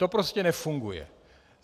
To prostě nefunguje.